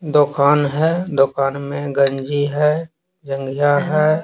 दुकान है दुकान में गंजी है गंजा है।